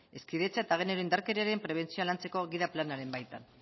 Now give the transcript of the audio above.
hezkidetza eta genero indarkeriaren prebentzioa lantzeko gida planaren baitan